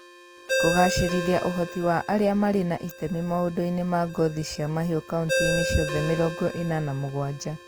Kũgaacĩrithia ũhoti wa arĩa marĩ na itemi maũndũ-inĩ ma ngothi cia mahiũ kauntĩ-inĩ ciothe mĩrongo ĩna na mũgwanja